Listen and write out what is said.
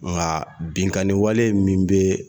Nka binkanniwale min bɛ yen